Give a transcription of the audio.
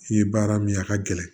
I ye baara min ye a ka gɛlɛn